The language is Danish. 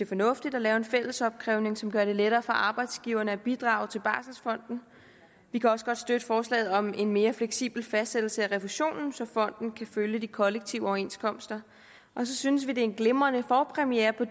fornuftigt at lave en fællesopkrævning som gør det lettere for arbejdsgiverne at bidrage til barselfonden vi kan også godt støtte forslaget om en mere fleksibel fastsættelse af refusionen så fonden kan følge de kollektive overenskomster så synes vi at det er en glimrende forpremiere på